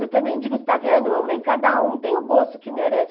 Eu também digo, está vendo mamãe, em cada um tem o gosto que merece.